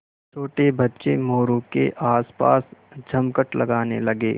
छोटे बच्चे मोरू के आसपास जमघट लगाने लगे